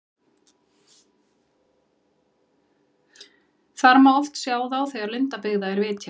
Þar má oft sjá þá þegar lundabyggða er vitjað.